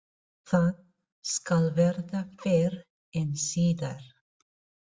Það skal verða fyrr en síðar.